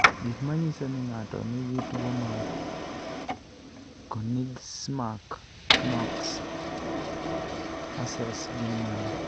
Gik manyiso ni ng'ato nigi tuwo mar Konigsmark-Knox-Hussels gin mage?